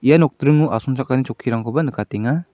ia nokdringo asongchakani chokkirangkoba nikatenga.